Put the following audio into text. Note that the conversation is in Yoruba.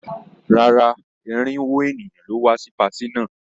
Rárá, irinwó ènìyàn ló wá sí patí náà.